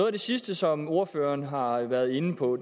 af det sidste som ordføreren har været inde på